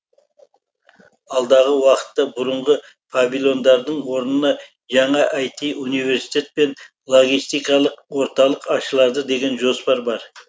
алдағы уақытта бұрынғы павильондардың орнына жаңа іт университет пен логистикалық орталық ашылады деген жоспар бар